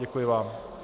Děkuji vám.